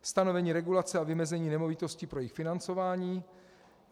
Stanovení regulace a vymezení nemovitostí pro jejich financování.